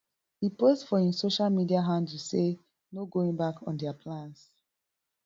e post for im social media handle say no going back on dia plans